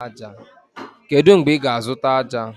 Kedu mgbe ị ga-azụta ájá?